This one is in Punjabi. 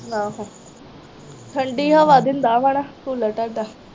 ਆਹੋ ਠੰਡੀ ਹਵਾ ਦਿੰਦਾ ਵਾ ਨਾ ਕੂਲਰ ਤੁਹਾਡਾ